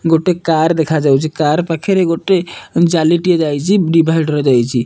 ଗୋଟେ କାର ଦେଖାଯାଉଚି। କାର ପାଖରେ ଗୋଟେ ଜାଲି ଟିଏ ଯାଇଚି। ଡିଭାଇଡ୍ ର ଯାଇଚି।